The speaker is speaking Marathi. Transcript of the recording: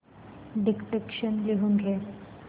डिक्टेशन लिहून घे